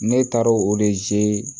Ne taara o de